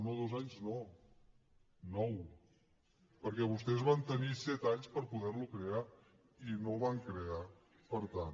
no dos anys no nou perquè vostès van tenir set anys per poder lo crear i no el van crear per tant